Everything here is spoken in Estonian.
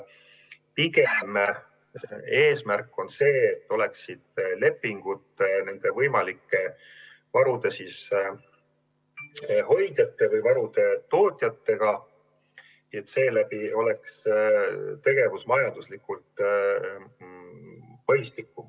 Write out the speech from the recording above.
Pigem on eesmärk see, et oleksid lepingud nende võimalike varude hoidjate või varude tootjatega ning seeläbi oleks tegevus majanduslikult mõistlikum.